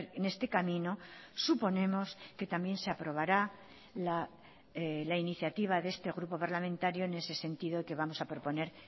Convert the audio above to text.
en este camino suponemos que también se aprobará la iniciativa de este grupo parlamentario en ese sentido que vamos a proponer